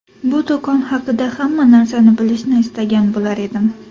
Bu do‘kon haqida hamma narsani bilishni istagan bo‘lardim.